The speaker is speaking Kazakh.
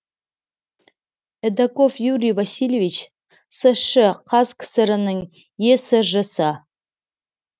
эдоков юрий васильевич сш і қазкср інің есж сы